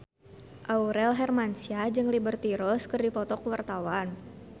Aurel Hermansyah jeung Liberty Ross keur dipoto ku wartawan